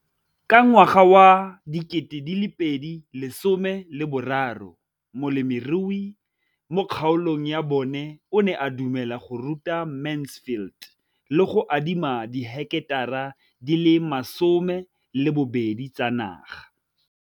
Ka ngwaga wa 2013, molemirui mo kgaolong ya bona o ne a dumela go ruta Mansfield le go mo adima di heketara di le 12 tsa naga.